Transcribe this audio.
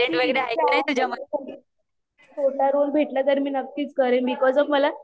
माझी इच्छा आहे छोटा रोल भेटला तर मी नक्कीच करेन बिकॉज ऑफ मला